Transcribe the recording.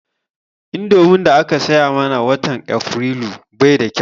Indomin daka saya mana watan Afrilu bai da kau